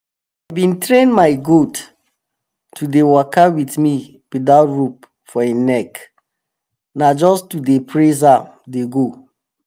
i bin train my goat to dey waka with me without rope for em neck na just to dey praise am dey go.